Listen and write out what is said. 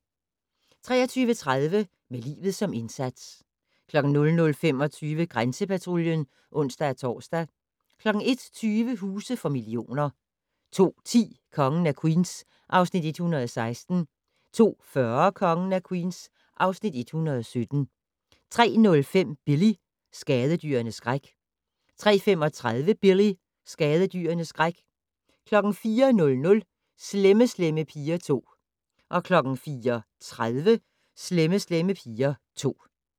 23:30: Med livet som indsats 00:25: Grænsepatruljen (ons-tor) 01:20: Huse for millioner 02:10: Kongen af Queens (Afs. 116) 02:40: Kongen af Queens (Afs. 117) 03:05: Billy - skadedyrenes skræk 03:35: Billy - skadedyrenes skræk 04:00: Slemme Slemme Piger 2 04:30: Slemme Slemme Piger 2